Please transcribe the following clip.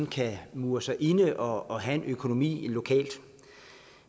kan mure sig inde og have en økonomi lokalt